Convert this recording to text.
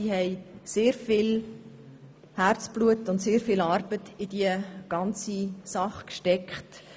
Sie hat sehr viel Arbeit und Herzblut in diese Sache gesteckt.